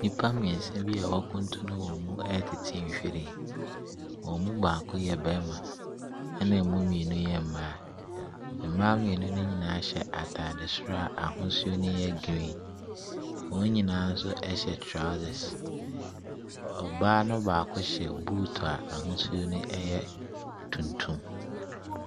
Nipa mmiɛnsa bi a wakunturu wɔn mu ɛtete nwhiren. Wɔn mu baako yɛ barima, ɛna emu mmienu yɛ mmaa. Mmaa mmienu no nyinaa hyɛ ataade koro a n'ahosuo no yɛ green. Wɔn nyinaa nso ɛhyɛ trousers. Ɔbaa no baako hyɛ boot a n'ahosuo no yɛ tuntum.